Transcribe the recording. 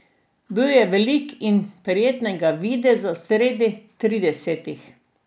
Bil je velik in prijetnega videza, sredi tridesetih.